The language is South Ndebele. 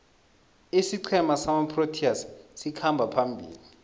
isiqhema samaproteas sikhamba phambili